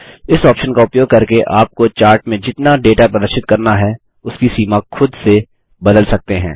इस ऑप्शन का उपयोग करके आपको चार्ट में जितना डेटा प्रदर्शित करना है उसकी सीमा खुद से बदल सकते हैं